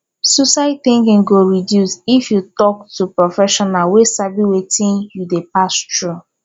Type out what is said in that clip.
suicide tinking go reduce if yu tok to professional wey sabi wetin yu dey pass thru